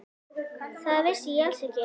Það vissi ég alls ekki.